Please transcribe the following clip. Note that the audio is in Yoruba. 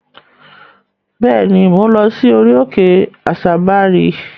Bẹ́ẹ̀ ni, mò ń lọ sí orí-okè Àsábarí.